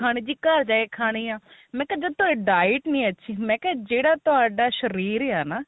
ਖਾਣੀ ਜੀ ਘਰ ਜਾ ਕੇ ਕਹਾਣੀ ਆ ਮੈਂ ਕਿਹਾ ਜੇ ਤੁਹਾਡੀ diet ਨਹੀਂ ਅੱਛੀ ਮੈਂ ਕਿਹਾ ਜਿਹੜਾ ਤੁਹਾਡਾ ਸ਼ਰੀਰ ਆ ਨਾ